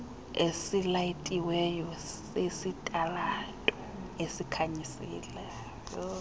esilayitiweyo sesitalato esikhanyisela